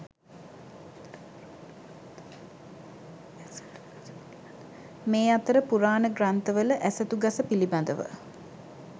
මේ අතර පුරාණ ග්‍රන්ථවල ඇසතු ගස පිළිබඳව